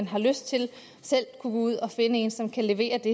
har lyst til at ud og finde en som kan levere det